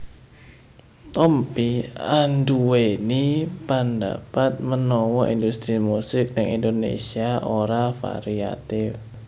Tompi anduweni pandapat menawa industri musik ning Indonésia ora variatif